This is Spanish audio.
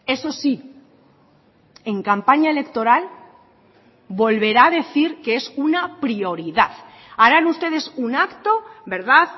eso sí en campaña electoral volverá a decir que es una prioridad harán ustedes un acto verdad